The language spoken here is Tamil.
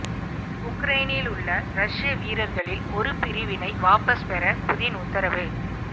உக்ரைனில் உள்ள ரஷிய வீரர்களில் ஒரு பிரிவினை வாபஸ் பெற புதின் உத்தரவு